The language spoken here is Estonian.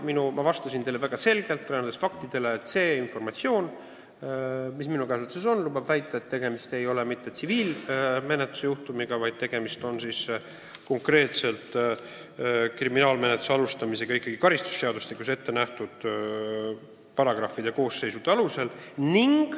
Ma vastasin teile väga selgelt, et see informatsioon, mis minu käsutuses on, lubab väita, et tegemist ei ole tsiviilmenetluse juhtumiga, vaid on põhjust alustada kriminaalmenetlust karistusseadustiku paragrahvides kirjas olevate koosseisude alusel.